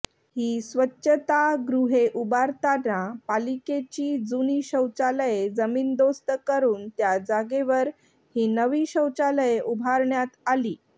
ही स्वच्छतागृहे उभारताना पालिकेची जुनी शौचालये जमीनदोस्त करून त्या जागेवर ही नवी शौचालये उभारण्यात आली